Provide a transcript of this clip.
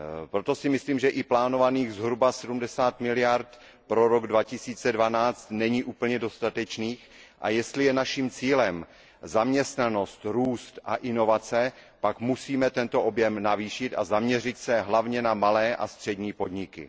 Proto si myslím, že i plánovaných zhruba 70 miliard eur pro rok 2012 není úplně dostatečných, a jestli je naším cílem zaměstnanost, růst a inovace, pak musíme tento objem navýšit a zaměřit se hlavně na malé a střední podniky.